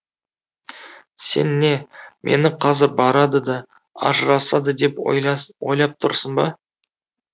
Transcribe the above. сен не мені қазір барады да ажырасады деп ойлап тұрсың ба